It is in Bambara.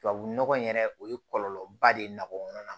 Tubabu nɔgɔ in yɛrɛ o ye kɔlɔlɔba de ye nɔgɔkɔnɔna na